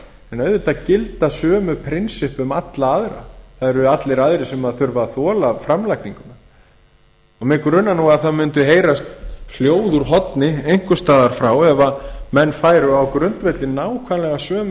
en auðvitað gilda sömu prinsipp um alla aðra það eru allir aðrir sem þurfa að þola framlagninguna mig grunar nú að það mundi heyrast hljóð úr horni einhvers staðar frá ef menn færu á grundvelli nákvæmlega sömu